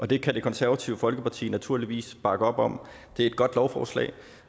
det kan det konservative folkeparti naturligvis bakke op om det er et godt lovforslag